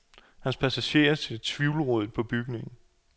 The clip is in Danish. Hans passager ser tvivlrådigt på bygningen.